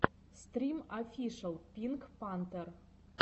стрим офишел пинк пантер